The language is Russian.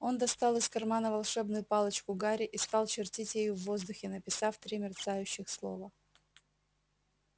он достал из кармана волшебную палочку гарри и стал чертить ею в воздухе написав три мерцающих слова